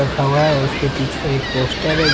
रखा हुआ है और उसके पीछे एक पोस्टर है।